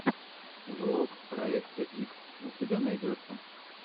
влог проекта икс у тебя найдется